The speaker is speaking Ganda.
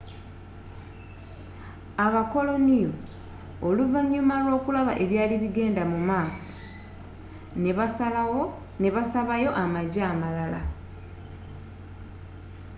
abakoloniyo oluvanyuma lw'okulaba ebyari bigenda musmaso nebasabayo amajje amalala